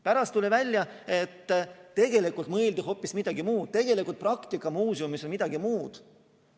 Pärast tuli välja, et tegelikult mõeldi hoopis midagi muud, tegelik praktika muuseumis on midagi muud.